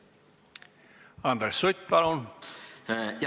Andres Sutt, palun!